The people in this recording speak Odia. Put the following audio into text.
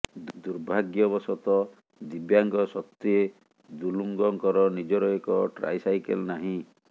ଦୁର୍ଭାଗ୍ୟବଶତଃ ଦିବ୍ୟାଙ୍ଗ ସତ୍ତ୍ୱେ ଦୁଲୁଙ୍ଗଙ୍କର ନିଜର ଏକ ଟ୍ରାଇସାଇକେଲ ନାହିଁ